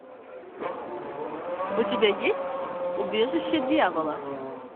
у тебя есть убежище дьявола